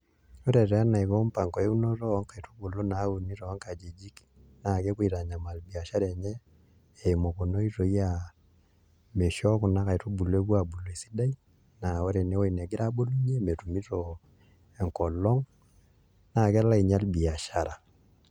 Ore taa eniko mpango einoto onkaitubulu na nauni tonkajijik na kepuo aitanyamal biashara enye eimu kuna oitoi aa misho kuna aitubulu epuo abulu esidai na lr enewueji nagira abulunye metumito enkolong na kelo ainyal biashara